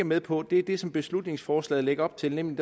med på er det som beslutningsforslaget lægger op til nemlig